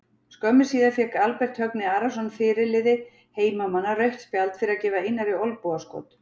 Skömmu síðar fékk Albert Högni Arason fyrirliði heimamanna rautt spjald fyrir að gefa Einari olnbogaskot.